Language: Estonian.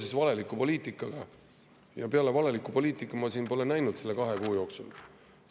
Peale valeliku poliitika ma pole siin näinud selle kahe kuu jooksul.